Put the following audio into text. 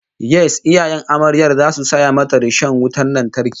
Yes, iyayen amaryar zasu saya mata rishon wutan lantarki